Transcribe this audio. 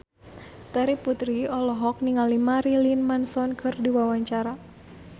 Terry Putri olohok ningali Marilyn Manson keur diwawancara